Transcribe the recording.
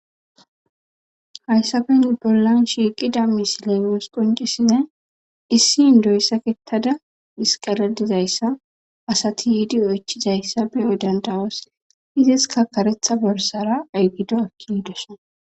hayssafen bollan shiiqida misilenos qoncisinne issi indoyssakettada hisqaladizayssa asati yiidi oychizayssa be odandawos iziska karetha borsara aygido akki hidoso